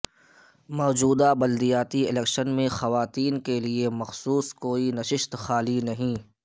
موجودہ بلدیاتی الیکشن میں خواتین کے لیے مخصوص کوئی نششت خالی نہیں